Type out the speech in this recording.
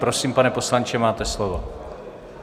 Prosím, pane poslanče, máte slovo.